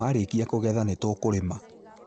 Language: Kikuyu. Marĩkia kũgetha nĩ tũkũrĩma